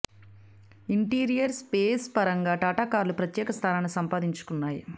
interior space పరంగా టాటా కార్లు ప్రత్యేక స్థానాన్ని సంపాదించుకున్నాయి